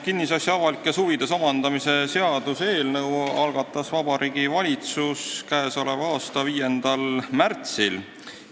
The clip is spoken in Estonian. Kinnisasja avalikes huvides omandamise seaduse eelnõu algatas Vabariigi Valitsus k.a 5. märtsil.